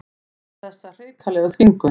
Þessa hrikalegu þvingun.